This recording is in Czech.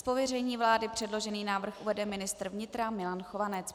Z pověření vlády předložený návrh uvede ministr vnitra Milan Chovanec.